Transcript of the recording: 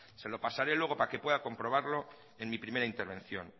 se lo pasaré luego para que puedo comprobarlo en mi primera intervención